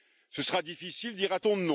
Ce sera difficile, dira t on.